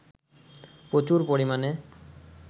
প্রচুর পরিমাণে